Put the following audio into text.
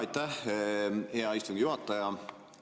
Aitäh, hea istungi juhataja!